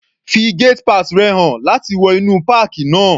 Fi gate pass rẹ̀ hàn láti wọ inú páàkì náà.